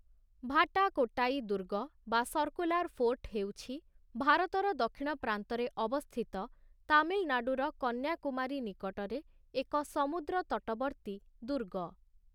ଭାଟାକୋଟ୍ଟାଇ ଦୁର୍ଗ ବା 'ସର୍କୁଲାର୍‌ ଫୋର୍ଟ' ହେଉଛି ଭାରତର ଦକ୍ଷିଣ ପ୍ରାନ୍ତରେ ଅବସ୍ଥିତ ତାମିଲନାଡୁର କନ୍ୟାକୁମାରୀ ନିକଟରେ ଏକ ସମୁଦ୍ରତଟବର୍ତ୍ତୀ ଦୁର୍ଗ ।